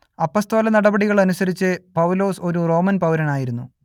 അപ്പസ്തോലനടപടികൾ അനുസരിച്ച് പൗലോസ് ഒരു റോമൻ പൗരനായിരുന്നു